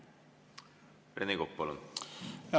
Rene Kokk, palun!